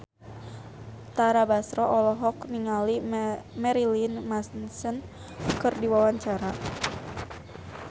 Tara Basro olohok ningali Marilyn Manson keur diwawancara